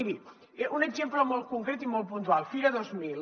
miri un exemple molt concret i molt puntual fira dos mil